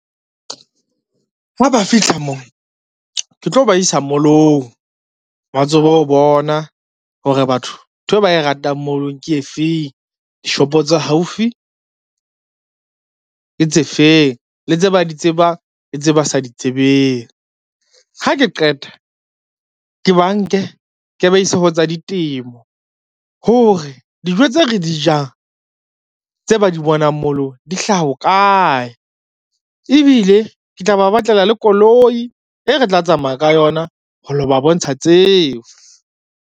Ha ba fihla mo, ke tlo ba isa mall-ong ba tsebe ho bona hore batho nthwe ba e ratang mall-ong ke efeng, dishopo tsa haufi ke tse feng le tse ba di tsebang le tse ba sa di tsebeng. Ha ke qeta, ke ba nke ke ba ise ho tsa ditemo hore, dijo tse re di jang tse ba di bonang mall-ong di hlaha ho kae, ebile ke tla ba batlela le koloi e re tla tsamaya ka yona ho lo ba bontsha tseo.